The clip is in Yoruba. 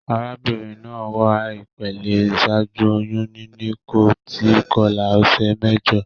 Arábínrin naa wà ìpele ìsájú oyún níní, kò tí kolá òsè méjo